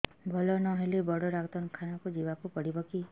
ଭଲ ନହେଲେ ବଡ ଡାକ୍ତର ଖାନା ଯିବା କୁ ପଡିବକି